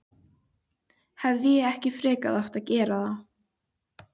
Hefði ég ekki frekar átt að gera það?